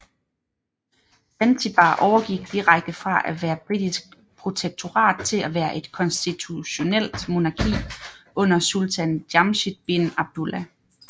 Zanzibar overgik direkte fra at være britisk protektorat til at være et konstitutionelt monarki under Sultan Jamshid bin Abdullah